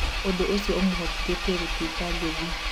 ũndũ ũcio ũmũhotithĩtie gũtũĩka ngũthi."